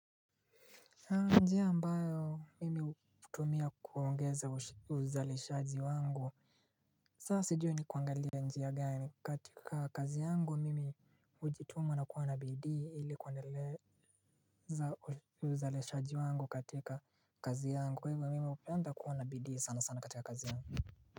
Njia ambayo mimi utumia kuongeza uzalishaji wangu saa sijui ni kuangalie njia gani katika kazi yangu mimi ujituma na kuwa na bidii ili kuaneleza uzaleshaji wangu katika kazi yangu kwa hivyo mimi upenda kuwa na bidii sana sana katika kazi yangu.